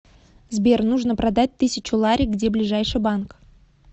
сбер нужно продать тысячу лари где ближайший банк